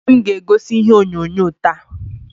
Nwanne m ga-egosi ihe onyonyo taa.